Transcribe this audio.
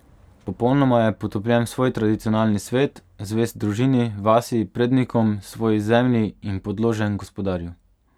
Popolnoma je potopljen v svoj tradicionalni svet, zvest družini, vasi, prednikom, svoji zemlji in podložen gospodarju.